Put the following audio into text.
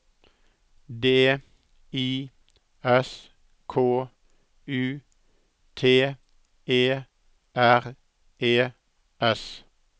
D I S K U T E R E S